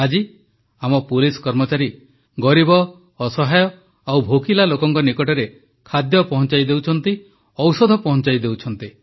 ଆଜି ଆମ ପୁଲିସ କର୍ମଚାରୀ ଗରିବ ଅସହାୟ ଓ ଭୋକିଲା ଲୋକଙ୍କ ନିକଟରେ ଖାଦ୍ୟ ପହଂଚାଇ ଦେଉଛନ୍ତି ଔଷଧ ପହଂଚାଇ ଦେଉଛନ୍ତି